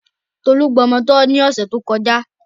Tolú gbamọ tọ́ ní ọ̀sẹ̀ tó kọjá.